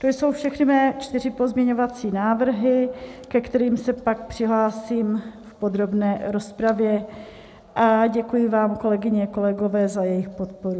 To jsou všechny mé čtyři pozměňovací návrhy, ke kterým se pak přihlásím v podrobné rozpravě, a děkuji vám, kolegyně, kolegové, za jejich podporu.